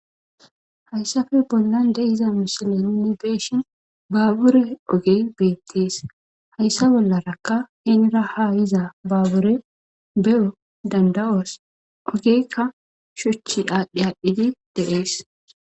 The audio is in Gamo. Hayssafe bollan de hiza mishile uni beeshin baabure ogey beettees hayssa bollarakka henira ha yiza baabure be'o danda'oos ogeykka shuchi aadhdhi aadhdhidi deees.